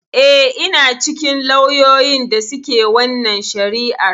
Eh, ina cikin lauyoyin da suke wannan shari'ar.